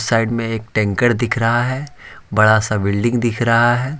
Side में एक tanker दिख रहा है बड़ा सा बिल्डिंग दिख रहा है।